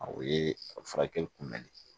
O ye a furakɛli kunbɛnli